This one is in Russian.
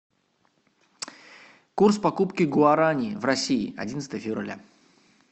курс покупки гуарани в россии одиннадцатое февраля